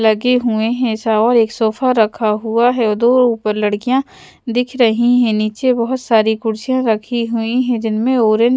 लगे हुए हैं सा और एक सोफा रखा हुआ है और दो ऊपर लड़कियां दिख रही हैं नीचे बहुत सारी कुर्सियां रखी हुई हैं जिनमें --